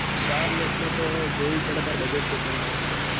wireless મ તો જોવું પડ તાર budget ચેટલાનું હ એ બધું